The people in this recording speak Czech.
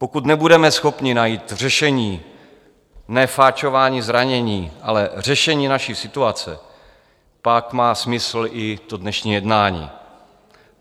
Pokud nebudeme schopni najít řešení, ne fačování zranění, ale řešení naší situace, pak má smysl i to dnešní jednání.